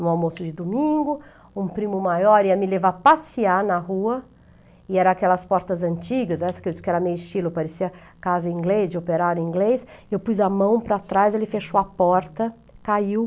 No almoço de domingo, um primo maior ia me levar a passear na rua, e era aquelas portas antigas, essa que eu disse que era meio estilo, parecia casa inglês, de operário inglês, e eu pus a mão para trás, ele fechou a porta, caiu.